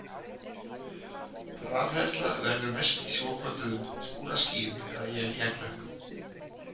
Rafhleðsla verður mest í svokölluðum skúraskýjum eða éljaklökkum.